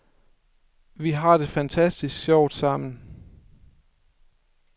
Vi har det fantastisk sjovt sammen.